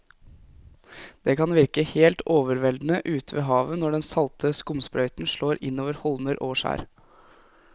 Det kan virke helt overveldende ute ved havet når den salte skumsprøyten slår innover holmer og skjær.